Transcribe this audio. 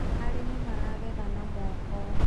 arĩmi maragetha na moko